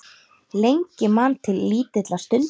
Lengi man til lítilla stunda